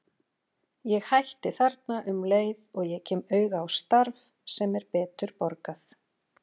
Ég hætti þarna um leið og ég kem auga á starf sem er betur borgað.